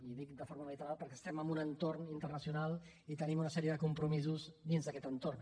i dic de forma unilateral perquè estem en un entorn internacional i tenim una sèrie de compromisos dins d’aquest entorn